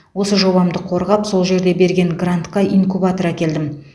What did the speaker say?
осы жобамды қорғап сол жерде берген грантқа инкубатор әкелдім